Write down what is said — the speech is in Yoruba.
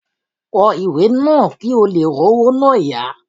Kọ ìwé náà kí ò leè r'ówó náà yá